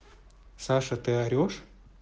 саша ты орёшь